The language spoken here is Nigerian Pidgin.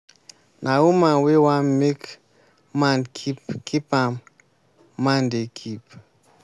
na woman wey wan make man keep keep am man dey keep.